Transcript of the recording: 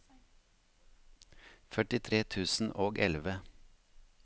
førtitre tusen og elleve